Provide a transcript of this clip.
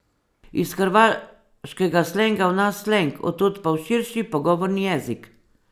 Iz hrvaškega slenga v naš sleng, od tod pa v širši pogovorni jezik.